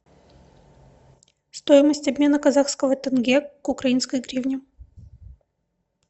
стоимость обмена казахского тенге к украинской гривне